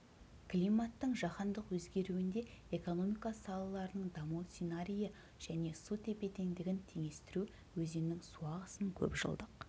климаттың жаһандық өзгеруінде экономика салаларының даму сценарийі және су тепе-теңдігін теңдестіру өзеннің су ағысын көпжылдық